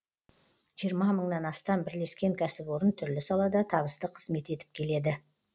жиырма мыңнан астам бірлескен кәсіпорын түрлі салада табысты қызмет етіп келеді